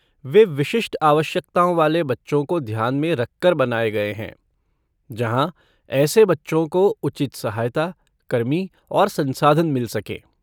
वे विशिष्ट आवश्यकताओं वाले बच्चों को ध्यान में रखकर बनाए गए हैं जहां ऐसे बच्चों को उचित सहायता, कर्मी और संसाधन मिल सकें।